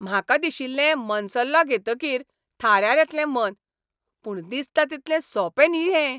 म्हाका दिशिल्लें मनसल्लो घेतकीर थाऱ्यार येतलें मन. पूण दिसता तितलें सोंपें न्हीं हें.